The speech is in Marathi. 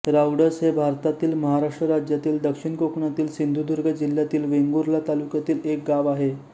रावडस हे भारतातील महाराष्ट्र राज्यातील दक्षिण कोकणातील सिंधुदुर्ग जिल्ह्यातील वेंगुर्ला तालुक्यातील एक गाव आहे